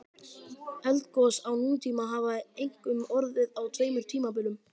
Eldgos á nútíma hafa einkum orðið á tveimur tímabilum.